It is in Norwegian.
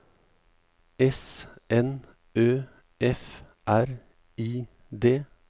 S N Ø F R I D